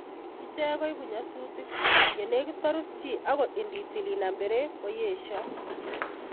Ichek koibu nyasutik ye negit korus chi agot ngitil konam breki koeshoo brekit